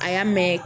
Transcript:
A y'a mɛn